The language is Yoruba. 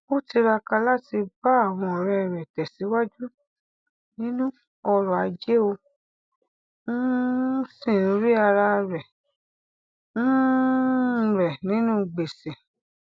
ó tiraka láti bá àwọn ọrẹ rẹ tẹsíwájú nínú ọrọ ajé ó um sì ń rí ara um rẹ nínú gbèsè